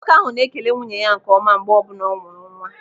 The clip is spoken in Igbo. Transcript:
Nwoke ahụ na-ekele nwunye ya nke ọma mgbe ọbụla ọ mụrụ nwa.